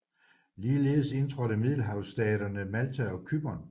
Ligeledes indtrådte middelhavsstaterne Malta og Cypern